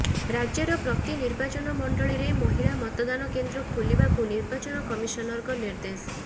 ରାଜ୍ୟର ପ୍ରତି ନିର୍ବାଚନ ମଣ୍ଡଳୀରେ ମହିଳା ମତଦାନ କେନ୍ଦ୍ର ଖୋଲିବାକୁ ନିର୍ବାଚନ କମିସନରଙ୍କ ନିର୍ଦ୍ଦେଶ